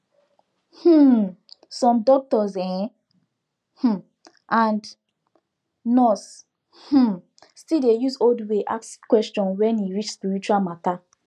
hmm some doctors en um and nurse um still dey use old way ask question when e reach spiritual matter